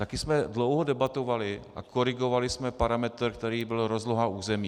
Také jsme dlouho debatovali a korigovali jsme parametr, který byl rozloha území.